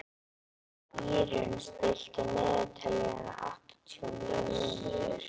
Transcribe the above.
Írunn, stilltu niðurteljara á áttatíu og níu mínútur.